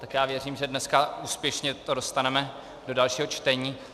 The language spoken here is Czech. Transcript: Tak já věřím, že dneska úspěšně to dostaneme do dalšího čtení.